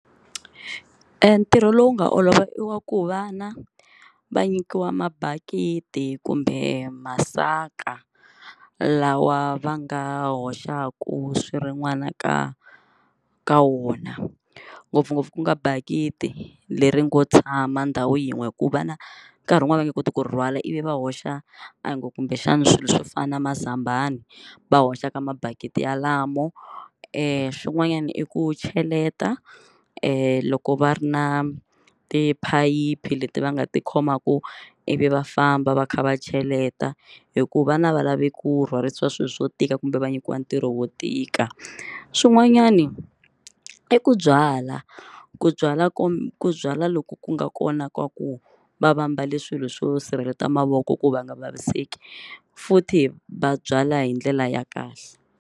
Ntirho lowu nga olova i wa ku vana va nyikiwa mabakiti kumbe masaka lawa va nga hoxaku swirin'wana ka ka wona ngopfungopfu ku nga bakiti leri ngo tshama ndhawu yin'we ku va na nkarhi wun'wani va nge koti ku rhwala ivi va hoxa a hi ngo kumbexana swilo swo fana na mazambani va hoxa ka mabakiti yalamo, e swin'wanyana i ku cheleta loko va ri na tiphayiphi leti va nga ti khomaku ivi va famba va kha va cheleta hikuva vana a va lavi ku rhwarisa swilo swo tika kumbe va nyikiwa ntirho wo tika, swin'wanyani i ku byala ku byala ku byala loko ku nga kona ka ku va va mbale swilo swo sirhelela mavoko ku va nga vaviseki futhi va byala hi ndlela ya kahle.